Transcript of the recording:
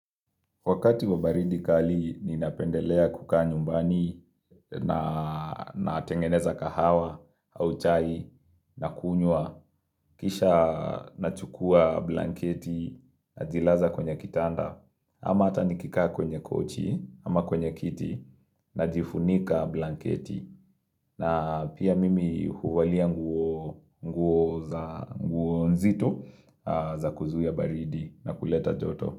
Wakati wa baridi kali ninapendelea kukaa nyumbani na tengeneza kahawa au chai na kunywa. Kisha nachukua blanketi na zilaza kwenye kitanda. Ama hata nikikaa kwenye kochi ama kwenye kiti najifunika blanketi. Na pia mimi huvalia nguo za nguo nzito za kuzuia baridi na kuleta joto.